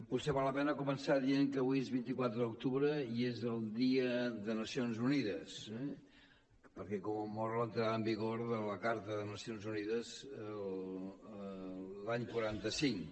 potser val la pena començar dient que avui és vint quatre d’octubre i és el dia de les nacions unides eh perquè commemora l’entrada en vigor de la carta de les nacions unides l’any quaranta cinc